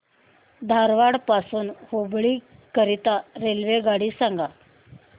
धारवाड पासून हुबळी करीता रेल्वेगाडी सांगा